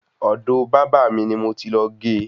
Ọ̀do bábà ni mo ti lọ ge